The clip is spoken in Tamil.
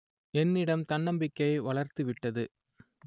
என்னிடம் தன்னம்பிக்கையை வளர்த்துவிட்டது